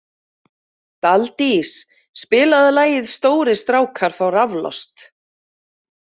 Daldís, spilaðu lagið „Stórir strákar fá raflost“.